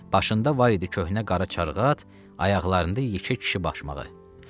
Başında var idi köhnə qara çarğat, ayaqlarında yekə kişi başmağı.